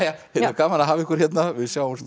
gaman að hafa ykkur hérna við sjáumst